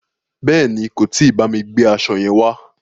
Bèéni, kò tí bámi gbe aṣo yẹn wá.